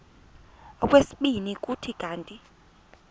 okwesibini kuthi kanti